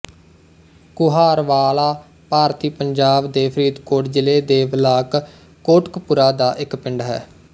ਕੁਹਾਰਵਾਲਾ ਭਾਰਤੀ ਪੰਜਾਬ ਦੇ ਫ਼ਰੀਦਕੋਟ ਜ਼ਿਲ੍ਹੇ ਦੇ ਬਲਾਕ ਕੋਟਕਪੂਰਾ ਦਾ ਇੱਕ ਪਿੰਡ ਹੈ